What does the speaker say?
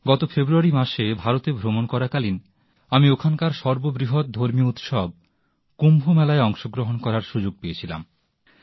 গত ফেব্রুয়ারি মাসে ভারতে ভ্রমণ করাকালীন আমি ওখানকার সর্ব বৃহৎ ধর্মীয় উৎসব কুম্ভ মেলায় অংশগ্রহণ করার সুযোগ পেয়েছিলাম